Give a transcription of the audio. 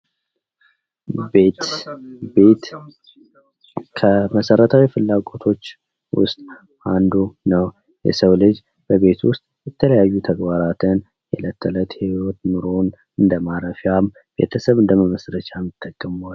ቤት ፦ ቤት ከመሰረታዊ ፍላጎቶች ውስጥ አንዱ ነው ። የሰው ልጅ በቤቱ ውሰጥ የተለያዩ ተግባራትን የእለት ተዕለት ኑሮውን እንደ ማረፊያም ፣ ቤተሰብ እንደመመስረቻ ይጠቀመዋል ።